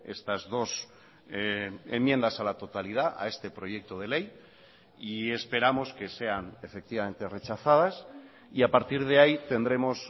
estas dos enmiendas a la totalidad a este proyecto de ley y esperamos que sean efectivamente rechazadas y a partir de ahí tendremos